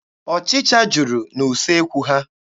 Ọchịcha juru n'usekwu ha.